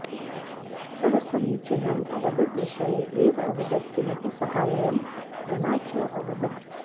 सः समीचीनम् अवदत् विषये एव अवदत् किमपि साहाय्यं विना च अवदत्